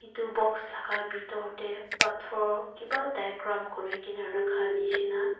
etu box laga bitor te pathor kiba diagram kurikena rakha nishe na.